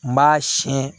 N b'a siyɛn